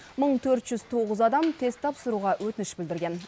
мың төрт жүз тоғыз адам тест тапсыруға өтініш білдірген